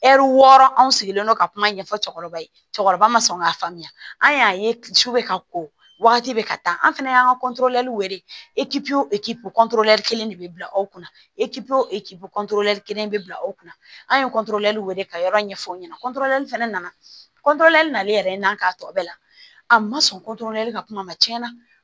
Ɛri wɔɔrɔ anw sigilen don ka kuma ɲɛfɔ cɛkɔrɔba ye cɛkɔrɔba ma sɔn k'a faamuya an y'a ye su bɛ ka ko wagati bɛ ka taa an fɛnɛ y'an ka wele kelen de bɛ bila aw kunna kelen de bɛ bila aw kunna an ye wele ka yɔrɔ ɲɛfɔ aw ɲɛna fɛnɛ nana nalen k'a tɔ bɛɛ la a ma sɔn ka kuma ma tiɲɛ na